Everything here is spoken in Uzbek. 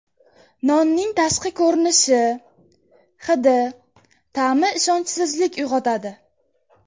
Nonning tashqi ko‘rinishi, hidi, ta’mi ishonchsizlik uyg‘otadi.